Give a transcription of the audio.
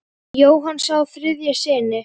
Jóhann á þrjá syni.